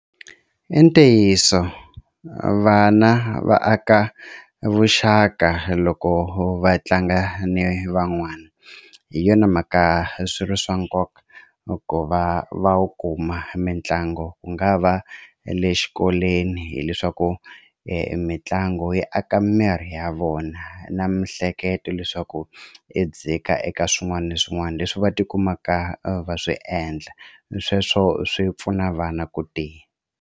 I ntiyiso vana va aka vuxaka loko va tlanga ni van'wana hi yona mhaka swi ri swa nkoka ku va va wu kuma mitlangu ku nga va le xikolweni hileswaku mitlangu yi aka miri ya vona na mihleketo leswaku i dzika eka swin'wana na swin'wana leswi va tikumaka va swi endla sweswo swi pfuna vana ku tiya.